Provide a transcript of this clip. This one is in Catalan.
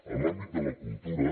en l’àmbit de la cultura